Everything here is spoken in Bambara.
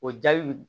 O jaabi